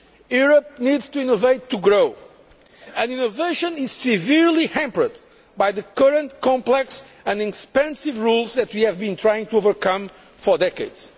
Europe needs to innovate in order to grow, and innovation is severely hampered by the current complex and expensive rules that we have been trying to overcome for decades.